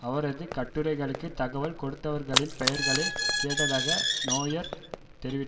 அவரது கட்டுரைகளுக்கு தகவல் கொடுத்தவர்களின் பெயர்களை கேட்டதாக நொயர் தெரிவித்த